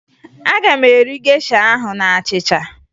Aga m eri gesha ahụ na achịcha